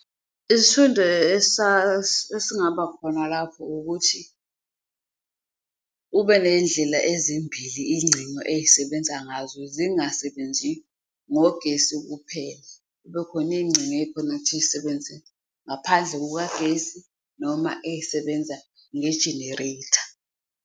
Isifundo esingaba khona lapho ukuthi ube neyindlela ezimbili ingcino eyisebenza ngazo, zingasebenzi ngogesi kuphela, kube khona eyingco ukuthi yisebenze ngaphandle kukagesi noma eyisebenza nge-generator.